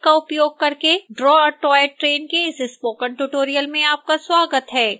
synfig का उपयोग करके draw a toy train के इस स्पोकन ट्यूटोरियल में आपका स्वागत है